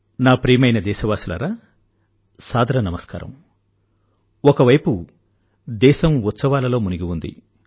నా ప్రియమైన దేశవాసులారా సాదర నమస్కారం ఒకవైపు దేశం ఉత్సవాలలో మునిగి ఉంది